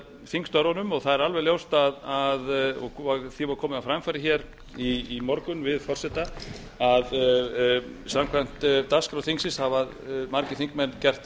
þingstörfunum og því var komið á framfæri í morgun við forseta að samkvæmt dagskrá þingsins hafa margir þingmenn gert